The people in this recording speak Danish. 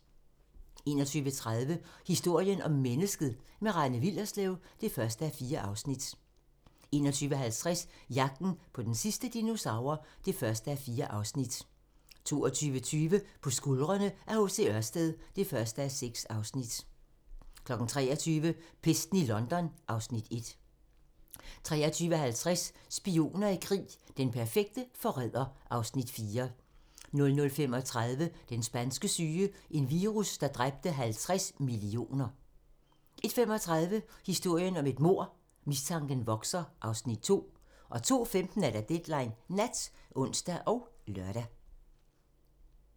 21:30: Historien om mennesket - med Rane Willerslev (1:4) 21:50: Jagten på den sidste dinosaur (1:4) 22:20: På skuldrene af H.C. Ørsted (1:6) 23:00: Pesten i London (Afs. 1) 23:50: Spioner i krig: Den perfekte forræder (Afs. 4) 00:35: Den spanske syge - en virus, der dræbte 50 millioner 01:35: Historien om et mord - mistanken vokser (Afs. 2) 02:15: Deadline Nat (ons og lør)